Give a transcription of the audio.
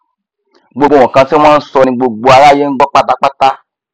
gbogbo nkan tí wọn nsọ ni gbogbo aráyé ngbọ pátápátá